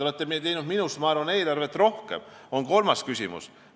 Ma arvan, et te olete eelarveid teinud rohkem kui mina.